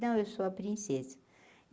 Não, eu sou a princesa.